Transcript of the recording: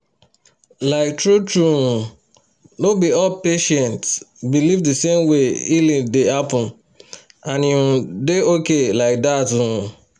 like true-true um no be all patients believe the same way healing dey happen — and e um dey okay like that um